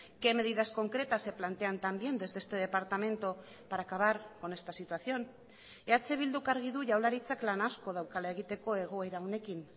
qué medidas concretas se plantean también desde este departamento para acabar con esta situación eh bilduk argi du jaurlaritzak lan asko daukala egiteko egoera honekin